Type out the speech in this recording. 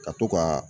Ka to ka